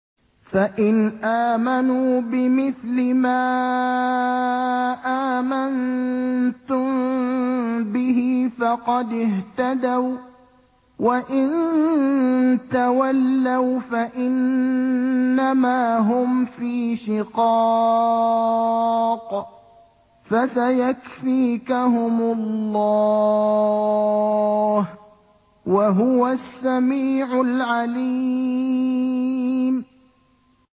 فَإِنْ آمَنُوا بِمِثْلِ مَا آمَنتُم بِهِ فَقَدِ اهْتَدَوا ۖ وَّإِن تَوَلَّوْا فَإِنَّمَا هُمْ فِي شِقَاقٍ ۖ فَسَيَكْفِيكَهُمُ اللَّهُ ۚ وَهُوَ السَّمِيعُ الْعَلِيمُ